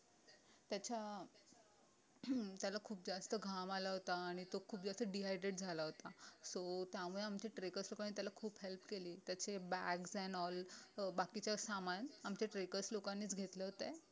त्याच्या हम्म त्याला खूप जास्त घाम आला होता आणि तो खूप जास्त dehydrate झाला होता so त्यामुळे आमच्या trackers लोकांनी त्याला खूप help केली त्याचे bags n all अं बाकीचं सामान आमच्या trackers लोकांनीच घेतले होते